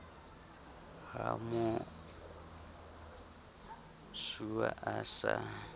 ha mo osuwa a sa